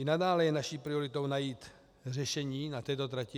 I nadále je naší prioritou najít řešení na této trati.